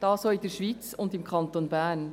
Dies auch in der Schweiz und im Kanton Bern.